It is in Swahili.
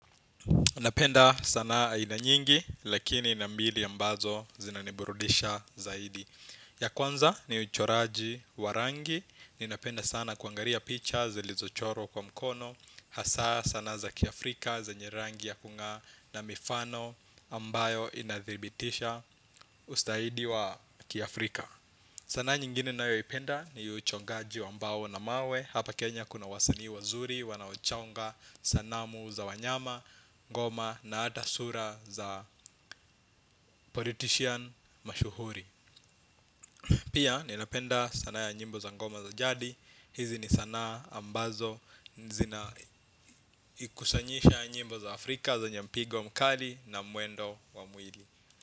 Napenda sanaa aina nyingi lakini na mbili ambazo zinaniburudisha zaidi. Ya kwanza ni uchoraji wa rangi. Ninapenda sana kuangalia picha zilizochorwa kwa mkono. Hasa sanaa za kiafrika zenye rangi ya kung'aa na mifano ambayo inathibitisha ustahidi wa kiafrika. Sanaa nyingine nayoipenda ni uchongaji wa mbao na mawe. Hapa Kenya kuna wasani wazuri wanaochonga sanamu za wanyama, ngoma na hata sura za politician mashuhuri. Pia ninapenda sanaa ya nyimbo za ngoma za jadi. Hizi ni sana ambazo zina kusanyisha nyimbo za Afrika zenye mpigo mkali na muendo wa mwili.